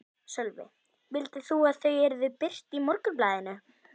Sölvi: Vildir þú að þau yrðu birt í Morgunblaðinu?